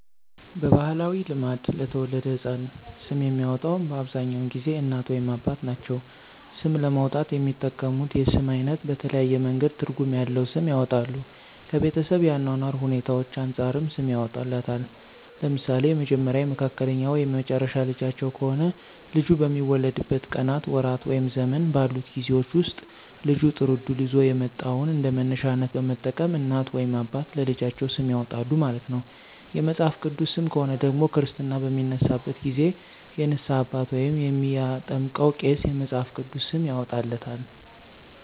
በባህላዊ ልማድ ለተወለደው ህፃን ስም የሚያወጣው በአብዛኛውን ጊዜ እናት ወይም አባት ናቸው። ስም ለማውጣት የሚጠቀሙት የስም አይነት በተለያየ መንገድ ትርጉም ያለዉ ስም ያወጣሉ። ከቤተሰብ የአኗኗር ሁኔታዎች አንፃርም ሰም ያወጡለታል። ለምሳሌ የመጀመሪያ፣ የመካከለኛ ወይም የመጨረሻ ልጃቸው ከሆነ ልጁ በሚወለድበት ቀናት፣ ወራት ወይም ዘመን ባሉት ጊዜወች ወስጥ ልጁ ጥሩ እድል ይዞ የመጣውን እንደመነሻነት በመጠቀም እናት ወይም አባት ለልጃቸው ስም ያወጣሉ ማለት ነው። የመጽሐፍ ቅዱስ ሰም ከሆነ ደግሞ ክርስትና በሚነሳበት ጊዜ የንስሃ አባት ወይም የሚያጠምቀው ቄስ የመፅሐፍ ቅዱስ ስም ያወጣለታል።